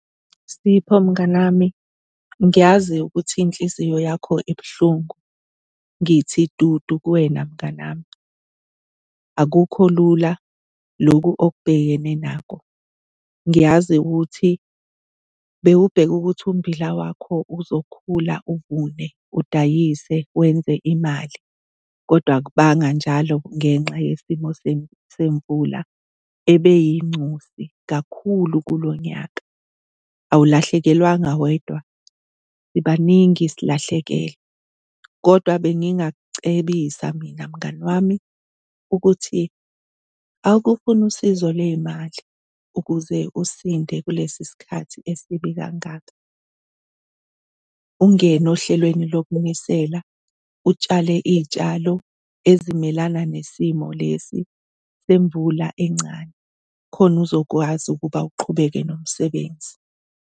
Sipho, mnganami ngiyazi ukuthi inhliziyo yakho ibuhlungu, ngithi dudu kuwena mnganami. Akukho lula loku okubhekene nako. Ngiyazi ukuthi bewubheke ukuthi umbila wakho uzokhula, uvune, udayise wenze imali kodwa akubanga njalo ngenxa yesimo semvula ebeyingcosi kakhulu kulo nyaka. Awulahlekelwanga wedwa, sibaningi silahlekelwe kodwa bengingakucebisa mina, mngani wami ukuthi awuke ufune usizo lwey'mali ukuze usinde kulesi sikhathi esibi kangaka. Ungene ohlelweni lokunisela, utshale iy'tshalo ezimelana nesimo lesi semvula encane khona uzokwazi ukuba uqhubeke nomsebenzi.